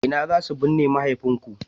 ina za su binne mahaifinku?